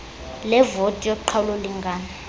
levoti yoqhawulo lingano